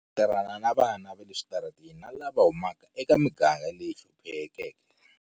Hi tirhana na vana va le switarateni na lava huma ka emigangeni leyi hluphekeke.